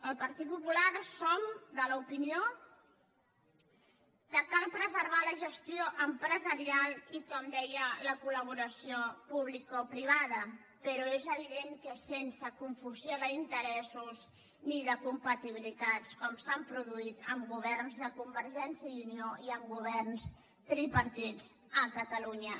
el partit popular som de l’opinió que cal preservar la gestió empresarial i com deia la collaboració publicoprivada però és evident que sense confusió d’interessos ni de compatibilitats com s’ha produït en governs de convergència i unió i en governs tripartits a catalunya